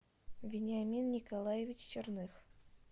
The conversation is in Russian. вениамин николаевич черных